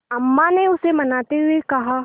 अम्मा ने उसे मनाते हुए कहा